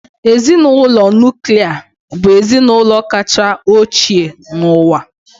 Ezinụlọ nuklia bụ ezinụlọ kacha ochie n'ụwa.